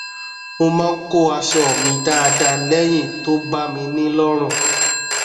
mo máa ń kó aṣọ mi dáadáa lẹyìn tó bá mi ní lọrùn